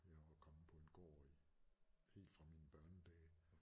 Jeg var kommet på en gård i helt fra mine børnedage